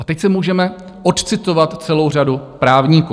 A teď si můžeme odcitovat celou řadu právníků.